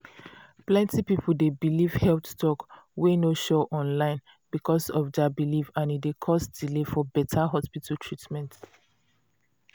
plenty people dey believe health talk wey no sure online because of their belief and e d cause delay for beta hospital treatment.